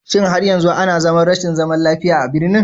Shin har yanzu ana zaman rashin zaman lafiya a birnin?